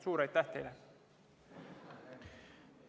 Suur aitäh teile!